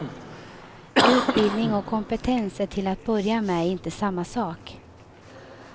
Utbildning och kompetens är till att börja med inte samma sak.